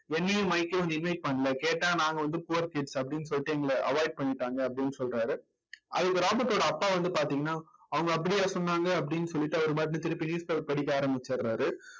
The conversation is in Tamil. என்னையும் மைக்கையும் வந்து invite பண்ணல கேட்டா நாங்க வந்து poor kids அப்படின்னு சொல்லிட்டு எங்களை avoid பண்ணிட்டாங்க அப்படின்னு சொல்றாரு அதுக்கு ராபர்ட்டோட அப்பா வந்து பார்த்தீங்கன்னா அவங்க அப்படியா சொன்னாங்க அப்படின்னு சொல்லிட்டு அவர் பாட்டுன்னு திருப்பி newspaper படிக்க ஆரம்பிச்சறாரு